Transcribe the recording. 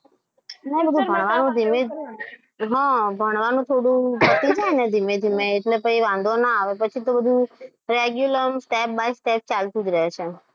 હા, ભણવાનું થોડું પતી જાય ને ધીમે ધીમે એટલે ફરી વાંધો ના આવે. પછી તો બધું regular step by step ચાલતું જ રહે છે.